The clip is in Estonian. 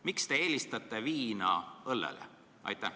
Miks te eelistate viina õllele?